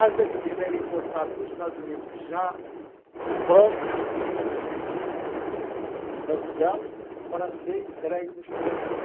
A gasolina era importada dos Estados Unidos já pronta e e e em vasilhame para ser entregue nos postos.